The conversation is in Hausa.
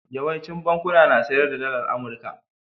Yawaicin bankuna na sayar da Dalar Amurka.